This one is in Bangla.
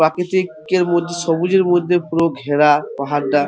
প্রাকৃতিকের মধ্যে সবুজের মধ্যে পুরো ঘেরা পাহাড়টা। .